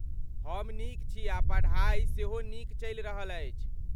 हम नीक छी आ पढ़ाई सेहो नीक चलि रहल अछि।